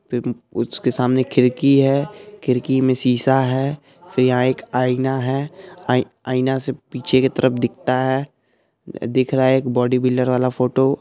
फिर उसके सामने एक खिड़की है खिड़की मे शीशा है फिर यंहा एक आईना है आई-आईना से पीछे के तरफ दिखता है दिख रहा है एक बॉडी बिल्डर वाला फोटो |